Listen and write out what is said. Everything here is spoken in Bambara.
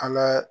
An ka